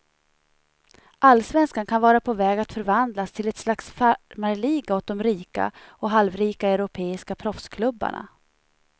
Allsvenskan kan vara på väg att förvandlas till ett slags farmarliga åt de rika och halvrika europeiska proffsklubbarna.